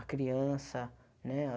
A criança, né?